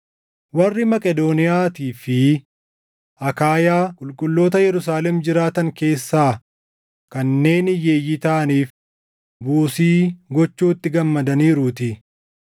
Warri Maqedooniyaatii fi Akaayaa qulqulloota Yerusaalem jiraatan keessaa kanneen hiyyeeyyii taʼaniif buusii gochuutti gammadaniiruutii.